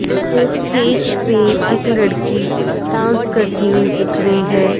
इसमें स्टेज पे एक लड़की डांस करती हुई दिख रही है।